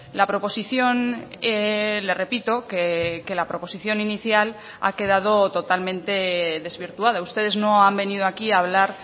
la proposición le repito que la proposición inicial ha quedado totalmente desvirtuada ustedes no han venido aquí a hablar